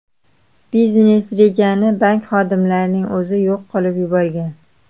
Biznes-rejani bank xodimlarining o‘zi yo‘q qilib yuborgan.